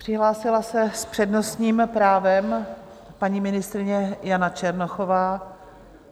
Přihlásila se s přednostním právem paní ministryně Jana Černochová.